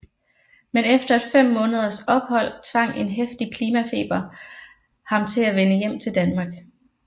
Men efter et 5 måneders ophold tvang en heftig klimatfeber ham til at vende hjem til Danmark